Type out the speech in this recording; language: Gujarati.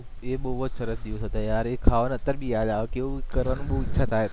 એ બહુ જ સરસ દિવસ હતા યાર એ ખાવાનુ અત્યારે ભી યાદ આવે કેવુ ઈચ્છા થાય કરન